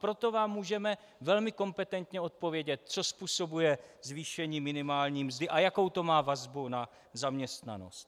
Proto vám můžeme velmi kompetentně odpovědět, co způsobuje zvýšení minimální mzdy a jakou to má vazbu na zaměstnanost.